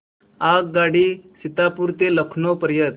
आगगाडी सीतापुर ते लखनौ पर्यंत